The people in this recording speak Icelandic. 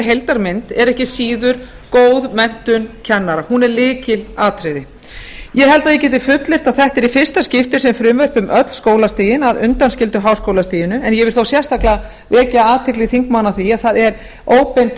heildarmynd er ekki síður góð menntun kennara hún er lykilatriði ég held að ég geti fullyrt að þetta er í fyrsta skipti sem frumvarp um öll skólastigin að undanskildu háskólastiginu en ég vil þó sérstaklega vekja athygli þingmanna á því að það er óbein